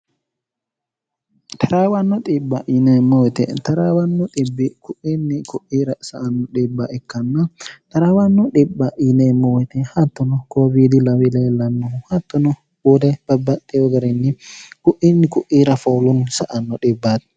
taraawanno xib0a yineemmoite traawanno kuinni ku'ir s nno dhb ikkann taraawannu dhib0a yineemmowite hattono koowiidi lawi leellannohu hattono uude babbaxxewo gariinyi ku'iinni ku'iira foolunni sa anno dhibbaati